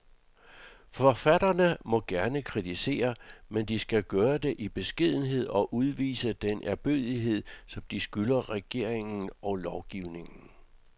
Forfatterne må gerne kritisere, men de skal gøre det i beskedenhed og udvise den ærbødighed, som de skylder regeringen og lovgivningen.